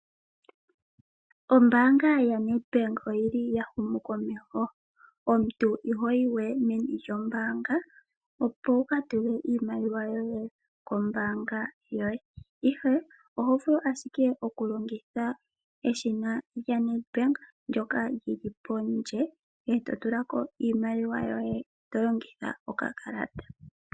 Ombaanga ya Nedbank oyili ya huma komeho omuntu ihoyi we meni lyombaanga opowu ka tule iimaliwa yoye kombaanga yoye ,ihe oho vulu ashike oku longitha eshina lya Nedbank ndyoka lyili pondje eto tulako iimaliwa yoye to longitha okakalata.